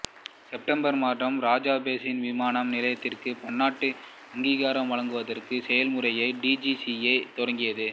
September மாதம் ராஜா போஜ் விமான நிலையத்திற்குச் பன்னாட்டு அங்கீகாரம் வழங்குவதற்கான செயல்முறையை டி ஜி சி ஏ தொடங்கியது